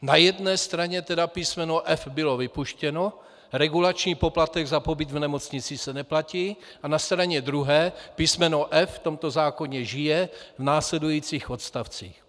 Na jedné straně tedy písmeno f) bylo vypuštěno, regulační poplatek za pobyt v nemocnici se neplatí, a na straně druhé písmeno f) v tomto zákoně žije, v následujících odstavcích.